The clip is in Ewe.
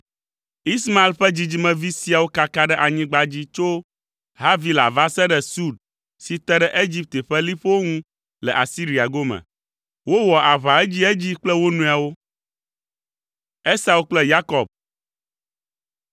Ismael ƒe dzidzimevi siawo kaka ɖe anyigba dzi tso Havila va se ɖe Sur si te ɖe Egipte ƒe liƒowo ŋu le Asiria gome. Wowɔa aʋa edziedzi kple wo nɔewo.